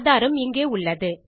ஆதாரம் இங்கே உள்ளது